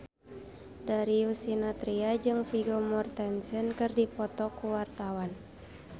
Darius Sinathrya jeung Vigo Mortensen keur dipoto ku wartawan